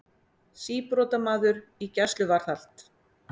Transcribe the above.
Síbrotamaður í gæsluvarðhald